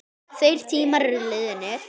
Þeir tímar eru liðnir.